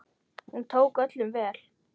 Hún tók öllum vel.